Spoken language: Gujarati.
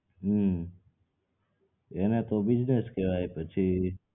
હમ્મ એને તો business કેવાય પછી